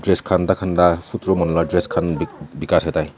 dress khan tah khan lah dress khan bikai satai.